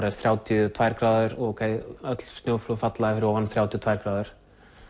er þrjátíu og tvær gráður öll snjóflóð falla fyrir ofan þrjátíu og tvær gráður